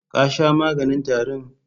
Ka sha maganin tarin?